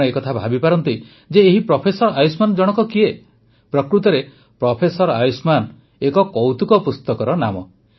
ଆପଣ ଏକଥା ଭାବିପାରନ୍ତି ଯେ ଏହି ପ୍ରଫେସର ଆୟୁଷ୍ମାନ ଜଣକ କିଏ ପ୍ରକୃତରେ ପ୍ରଫେସର ଆୟୁଷ୍ମାନ ଏକ କୌତୁକ ପୁସ୍ତକର ନାମ